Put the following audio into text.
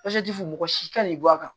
fɔ mɔgɔ si kan'i bɔ a kan